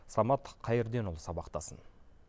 самат қайырденұлы сабақтасын